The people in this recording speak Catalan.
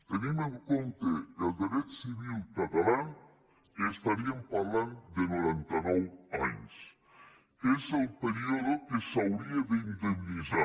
tenint en compte el dret civil català estaríem parlant de noranta nou anys que és el període que s’hauria d’indemnitzar